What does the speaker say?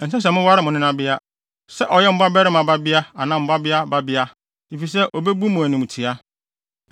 “ ‘Ɛnsɛ sɛ moware mo nenabea, sɛ ɔyɛ mo babarima babea anaa mo babea babea, efisɛ ebebu mo animtiaa.